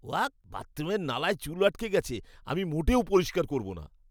Walk! বাথরুমের নালায় চুল আটকে গেছে। আমি মোটেও পরিষ্কার করব না।